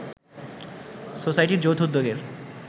সোসাইটির যৌথ উদ্যোগের